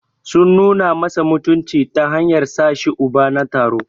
Sun nuna masa mutunci ta hanyar sashi Uba na taro.